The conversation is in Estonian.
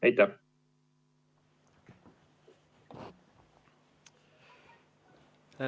Aitäh!